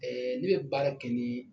Ɛɛ ne bɛ baara kɛ ni